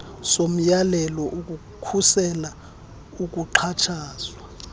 somyalelo wokukhusela ukuxhatshazwa